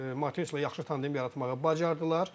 Mateşlə yaxşı tandim yaratmağı bacardılar.